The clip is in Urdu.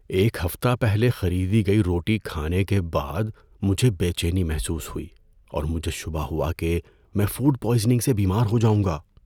ایک ہفتہ پہلے خریدی گئی روٹی کھانے کے بعد مجھے بے چینی محسوس ہوئی اور مجھے شبہ ہوا کہ میں فوڈ پوائزننگ سے بیمار ہو جاؤں گا۔